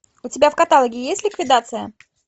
у тебя в каталоге есть ликвидация